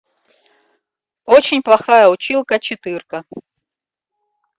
очень плохая училка четырка